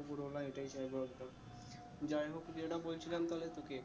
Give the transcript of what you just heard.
ওপরওয়ালা এইটাই চাইবো যাই হোক যেটা বলছিলাম তাহলে তোকে